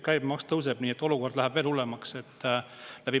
Käibemaks tõuseb, nii et olukord läheb veel hullemaks.